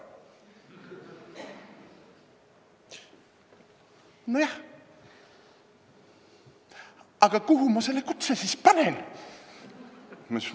Nõunik: "Nojah, aga kuhu ma selle kutse siis panen?